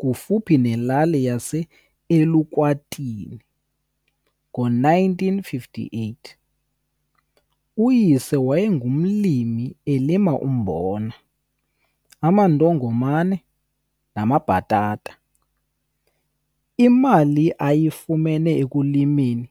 kufuphi nelali yaseElukwatini ngo-1958. Uyise wayengumlimi elima umbona, amandongomane namabhatata. Imali ayifumene ekulimeni